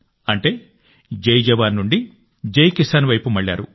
అంటే జై జవాన్ నుండి జై కిసాన్ వైపు మళ్లారు